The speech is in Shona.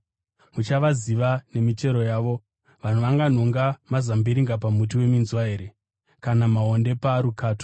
Muchavaziva nemichero yavo. Vanhu vanganhonga mazambiringa pamuti weminzwa here, kana maonde parukato?